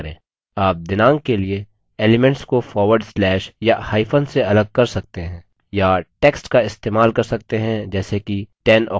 आप दिनांक के elements को forward slash या hyphen से अलग कर सकते हैं या text का इस्तेमाल कर सकते हैं जैसे कि 10 october 2011